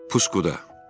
Puskuda.